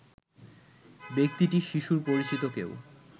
ব্যক্তিটি শিশুর পরিচিত কেউ